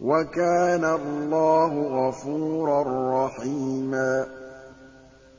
وَكَانَ اللَّهُ غَفُورًا رَّحِيمًا